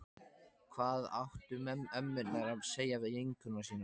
Hvað áttu ömmurnar að segja við vinkonur sínar?